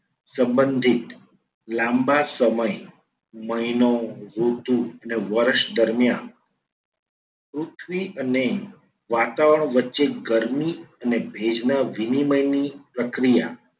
સંબંધિત લાંબા સમયે મહિનો, ઋતુ અને વર્ષ દરમિયાન પૃથ્વી અને વાતાવરણ વચ્ચે ગરમી અને ભેજના વિનિમયની પ્રક્રિયા